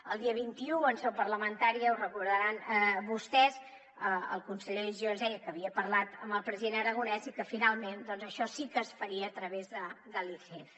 el dia vint un en seu parlamentària ho deuen recordar vostès el conseller giró ens deia que havia parlat amb el president aragonès i que finalment això sí que es faria a través de l’icf